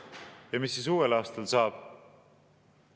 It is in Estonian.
Ja mis siis uuel aastal saab?